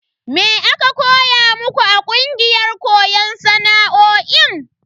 Me aka koya muku a kungiyar koyon sana'o'in?